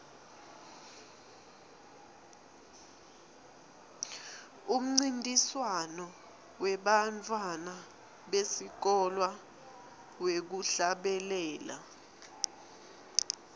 umncintiswano webantfwana besikolwa wekuhlabela